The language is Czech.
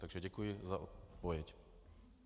Takže děkuji za odpověď.